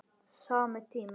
Sami tími.